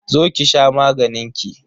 Zo ki sha maganin ki.